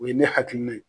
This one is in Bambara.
O ye ne hakilina ye